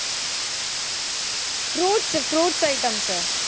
fruits fruits items